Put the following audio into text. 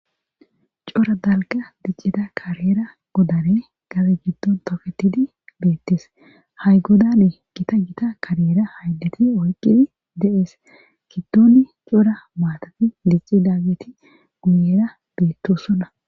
Cora dalga diccida kareera godane gaze giddon tofetidi beettes hay godane gita gita kareera hayleti oyqidi dees giddoni cora maatati dicci daggeti guyera beettosonna.